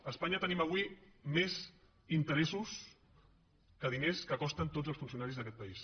a espanya tenim avui més interessos que diners que costen tots els funcionaris d’aquest país